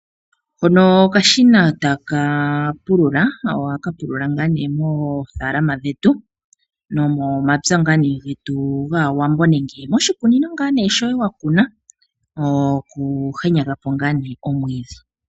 Hono okashina taka pulula. Oha ka pulula ngaa nee moofalama dhetu nomomapya ngaa nee getu gaawambo nenge moshikunino shoye ngaa nee wakuna. Noku henyaga po ngaa nee omwiidhi.